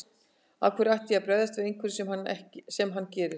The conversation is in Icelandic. Af hverju ætti ég að bregðast við einhverju sem hann gerir.